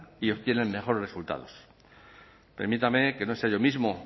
y obtienen mejores resultados permítanme que no sea yo mismo